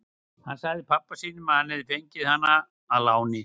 Hann sagði pabba sínum að hann hefði fengið hana að láni.